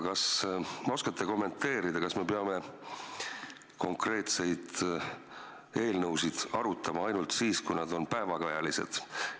Kas te oskate kommenteerida, kas me peame konkreetseid eelnõusid arutama ainult siis, kui nad on päevakajalised?